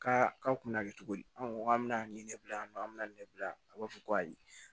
Ka k'aw kunna cogo di anw ko k'an bɛna nin ne bila yan nɔ an bɛna nin ne bila a b'a fɔ ko ayi